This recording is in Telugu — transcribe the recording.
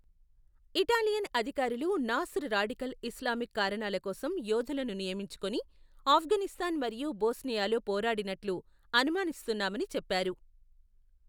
ఇటాలియన్ అధికారులు నాస్ర్ రాడికల్ ఇస్లామిక్ కారణాల కోసం యోధులను నియమించుకొని, ఆఫ్ఘనిస్తాన్ మరియు బోస్నియాలో పోరాడినట్లు అనుమానిస్తున్నామని చెప్పారు.